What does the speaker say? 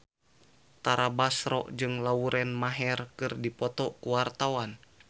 Tara Basro jeung Lauren Maher keur dipoto ku wartawan